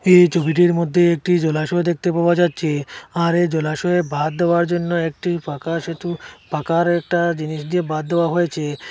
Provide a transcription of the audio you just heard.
এই ছবিটির মধ্যে একটি জলাশয় দেখতে পাওয়া যাচ্ছে আর এই জলাশয়ে বাঁধ দেওয়ার জন্য একটি পাকা সেতু পাকার একটা জিনিস দিয়ে বাঁধ দেওয়া হয়েছে।